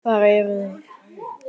Hrund: Hvar eru þeir?